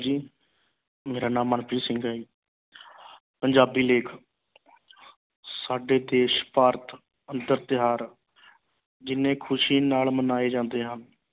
ਜੀ ਮੇਰਾ ਨਾਮ ਮਨਪ੍ਰੀਤ ਸਿੰਘ ਹੈ ਜੀ ਪੰਜਾਬੀ ਲੇਖ ਸਾਡੇ ਦੇਸ਼ ਭਾਰਤ ਅੰਦਰ ਤਿਉਹਾਰ ਜਿੰਨੇ ਖੁਸ਼ੀ ਨਾਲ ਮਨਾਏ ਜਾਂਦੇ ਹਨ